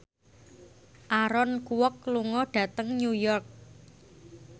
Aaron Kwok lunga dhateng New York